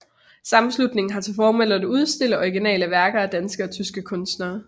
Sammenslutningen har til formål at udstille originale værker af danske og tyske kunstnere